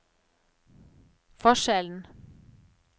forskjellen